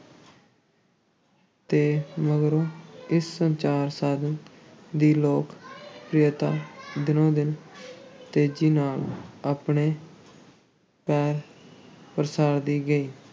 ਤੇ ਮਗਰੋਂ ਇਸ ਸੰਚਾਰ ਸਾਧਨ ਦੀ ਲੋਕ ਪ੍ਰਿਅਤਾ ਦਿਨੋ-ਦਿਨ ਤੇਜ਼ੀ ਨਾਲ ਆਪਣੇ ਪੈਰ ਪਸਾਰਦੀ ਗਈ।